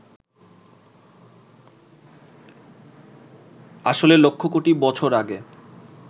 আসলে লক্ষ কোটি বছর আগে